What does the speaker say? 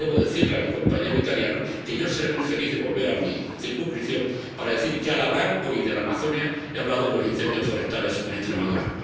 Y debo decirle a mi compañero italiano que yo estaré muy feliz de volver a mi circunscripción para decir que, al hablar hoy de la Amazonía, he hablado de los incendios forestales en Extremadura.